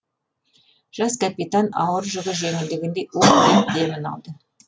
жас капитан ауыр жүгі жеңілгендей уһ деп демін алды